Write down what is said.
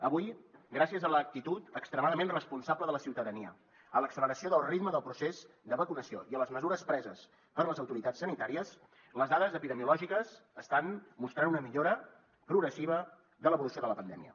avui gràcies a l’actitud extremadament responsable de la ciutadania a l’acceleració del ritme del procés de vacunació i a les mesures preses per les autoritats sanitàries les dades epidemiològiques estan mostrant una millora progressiva de l’evolució de la pandèmia